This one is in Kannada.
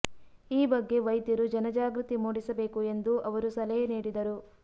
ಈ ಬಗ್ಗೆ ವೈದ್ಯರು ಜನಜಾಗೃತಿ ಮೂಡಿಸಬೇಕು ಎಂದು ಅವರು ಸಲಹೆ ನೀಡಿದರು